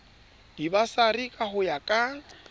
dibasari ka ho ya ka